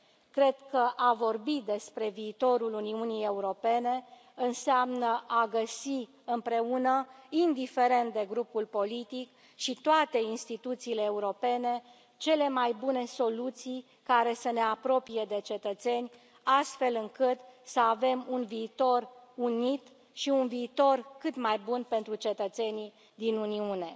Cred că a vorbi despre viitorul Uniunii Europene înseamnă a găsi împreună, indiferent de grupul politic și toate instituțiile europene, cele mai bune soluții, care să ne apropie de cetățeni, astfel încât să avem un viitor unit și un viitor cât mai bun pentru cetățenii din Uniune.